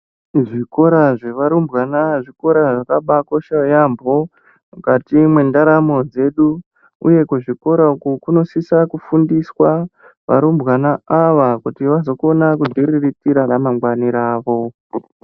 Zvikora zvevarumbwana zvikora zvakabakosha yambo mukati mwendaramo dzedu uye kuzvikora uku kunosisa kufundiswa varumbwana ava kuti vazokona kudziriritira ramangwani ravo.